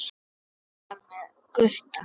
Og hún var með Gutta!